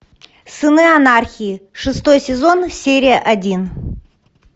сыны анархии шестой сезон серия один